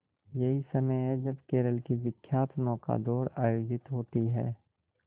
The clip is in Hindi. यही समय है जब केरल की विख्यात नौका दौड़ आयोजित होती है